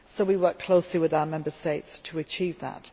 We work closely with our Member States to achieve that.